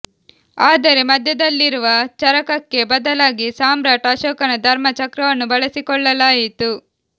ಆದರೆ ಮಧ್ಯದಲ್ಲಿರುವ ಚರಕಕ್ಕೆ ಬದಲಾಗಿ ಸಾಮ್ರಾಟ್ ಅಶೋಕನ ಧರ್ಮ ಚಕ್ರವನ್ನು ಬಳಸಿಕೊಳ್ಳಲಾಯಿತು